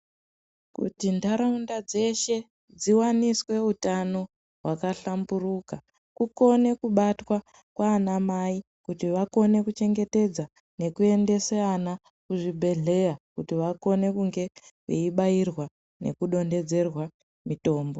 Kuti ntaraunda dzeshe dziwaniswe utano hwakahlamburuka kukone kubatwa kwaanamai kuti vakone kuchengetedza nekuendesa ana kuzvibhedhlera kuti vakone kunge veibairwa nekudontedzerwa mitombo.